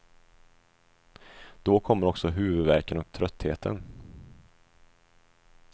Då kommer också huvudvärken och tröttheten.